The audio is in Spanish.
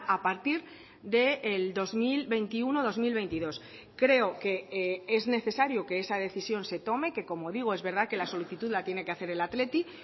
a partir del dos mil veintiuno dos mil veintidós creo que es necesario que esa decisión se tome que como digo es verdad que la solicitud la tiene que hacer el athletic